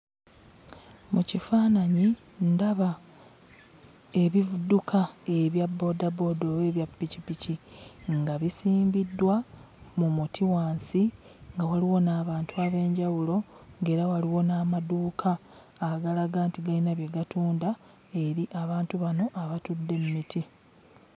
Mu kifaananyi ndaba ebidduka ebya boodabooda oba ebya pikipiki nga bisimbiddwa mu muti wansi nga waliwo n'abantu ab'enjawulo ng'era waliwo n'amaduuka agalaga nti galina bye gatunda eri abantu bano abatudde mu miti.